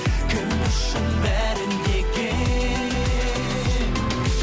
кім үшін бәрі неге